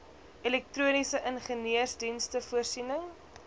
elektroniese ingenieursdienste voorsiening